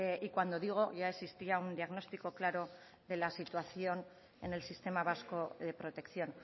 y cuando digo ya existía un diagnóstico claro de la situación en el sistema vasco de protección